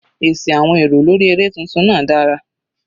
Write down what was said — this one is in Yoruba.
Èsì àwọn èrò lórí eré tuntun náà dára.